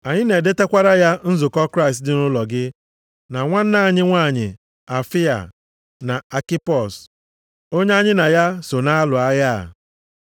Anyị na-edetakwara ya nzukọ Kraịst dị nʼụlọ gị, na nwanna anyị nwanyị Afịa, na Akipos onye anyị na ya so na-alụ agha a.